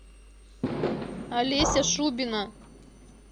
олеся шубина